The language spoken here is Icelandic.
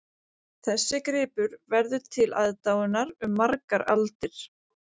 Þessi gripur verður til aðdáunar um margar aldir